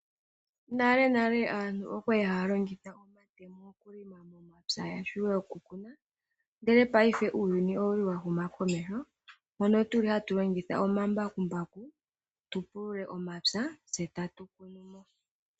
Nalenale aantu oya li haya longitha omatemo okulima momapya opo ya vule okukuna, ndele paife uuyuni owa humakomeho mono tatu longitha omambakumbaku tu pulule omapya tse tatu kunu mo.